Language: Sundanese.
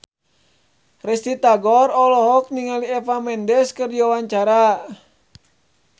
Risty Tagor olohok ningali Eva Mendes keur diwawancara